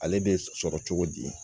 Ale bɛ sɔrɔ cogo di